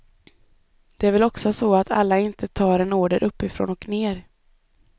Det är väl också så att alla inte tar en order uppifrån och ner.